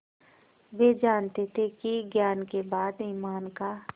वे जानते थे कि ज्ञान के बाद ईमान का